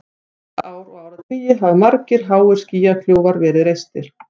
Síðustu ár og áratugi hafa margir háir skýjakljúfar verið reistir.